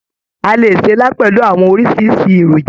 A lè ṣe ilá pẹlú àwọn oríṣiríṣi èròjà.